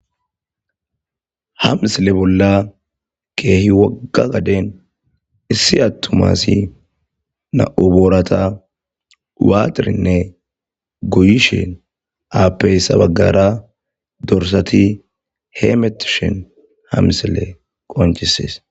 hamsile bolla keehi wogga gaden issi attumasi na7u boorata waatirinne goyishen aappey sabaggara dorsati heemetishen hamsile qonchisees